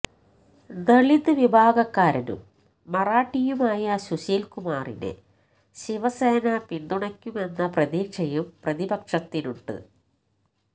ദലിത് വിഭാഗക്കാരനും മറാഠിയുമായ സുശീല്കുമാറിനെ ശിവസേന പിന്തുണയ്ക്കുമെന്ന പ്രതീക്ഷയും പ്രതിപക്ഷത്തിനുണ്ട്